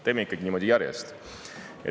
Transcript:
Teeme ikkagi niimoodi järjest.